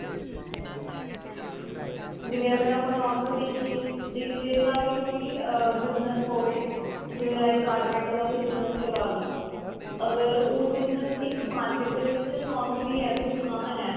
ਜਿਵੇਂ ਅਗਰ ਆਪਾਂ normal ਦੇਖੀਏ ਜੇ ਕਿਸੇ ਦਾ ਵੀ ਕੋਈ ਅਮ business ਹੋਵੇ ਜਿਵੇਂ like carpenter ਦਾ ਕੋਈ business ਲਗਾਲੋ ਅਗਰ ਉਹ business ਇੱਕ market ਦੇ ਵਿੱਚ normally ਹੈ ਕੋਈ ਦੁਕਾਨ ਹੈ